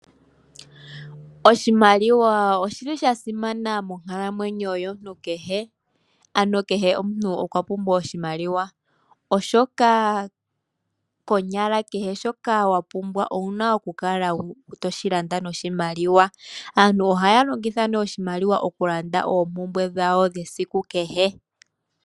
Oshimaliwa oshi li sha simana monkalamwenyo yomuntu kehe, ano kehe omuntu okwa pumbwa oshimaliwa, oshoka konyala kehe shoka wa pumbwa owu na okukala to shi landa noshimaliwa. Aantu ohaya longitha oshimaliwa okulanda oompumbwe dhawo dhesiku kehe.